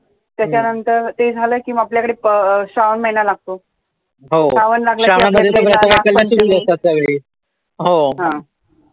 त्याच्यानंतर ते झालं कि आपल्याकडे श्रावण महिना लागतो